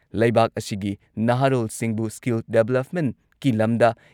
ꯂꯩꯕꯥꯛ ꯑꯁꯤꯒꯤ ꯅꯍꯥꯔꯣꯜꯁꯤꯡꯕꯨ ꯁ꯭ꯀꯤꯜ ꯗꯦꯚꯂꯞꯃꯦꯟꯠꯀꯤ ꯂꯝꯗ